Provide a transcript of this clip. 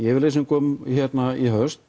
yfirlýsingum í haust